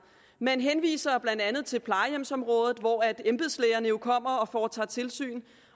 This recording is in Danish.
man henviser blandt andet til plejehjemsområdet hvor embedslægerne kommer og foretager tilsyn